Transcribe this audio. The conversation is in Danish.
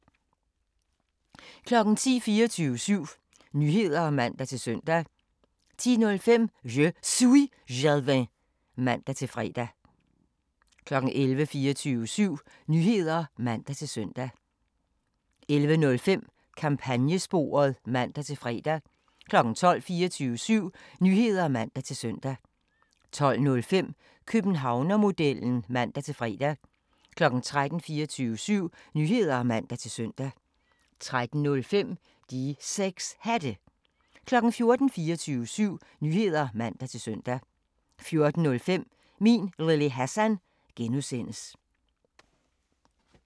10:00: 24syv Nyheder (man-søn) 10:05: Je Suis Jalving (man-fre) 11:00: 24syv Nyheder (man-søn) 11:05: Kampagnesporet (man-fre) 12:00: 24syv Nyheder (man-søn) 12:05: Københavnermodellen (man-fre) 13:00: 24syv Nyheder (man-søn) 13:05: De 6 Hatte 14:00: 24syv Nyheder (man-søn) 14:05: Min Lille Hassan (G)